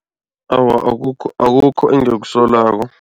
Awa, akukho engikusolako.